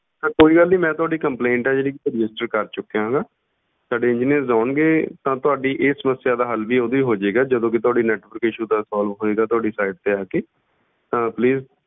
ਤਾਂ ਕੋਈ ਗੱਲ ਨੀ ਮੈਂ ਤੁਹਾਡੀ complaint ਹੈ ਜਿਹੜੀ register ਕਰ ਚੁੱਕਿਆ ਹੈਗਾ, ਸਾਡੇ engineers ਆਉਣਗੇ, ਤਾਂ ਤੁਹਾਡੀ ਇਹ ਸਮੱਸਿਆ ਦਾ ਵੀ ਹੱਲ ਉਦੋਂ ਹੀ ਹੋ ਜਾਏਗਾ ਜਦੋਂ ਵੀ ਤੁਹਾਡੀ network issue ਦਾ solve ਹੋਏਗਾ, ਤੁਹਾਡੀ site ਤੇ ਆ ਕੇ ਤਾਂ please